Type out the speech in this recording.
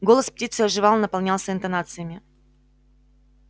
голос птицы оживал наполнялся интонациями